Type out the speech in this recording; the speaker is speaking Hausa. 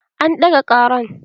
An ɗaga ƙaran